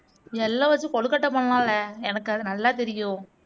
எள்ள வச்சு கொழுக்கட்டை பண்ணலாம்லே எனக்கு அது நல்லா தெரியும்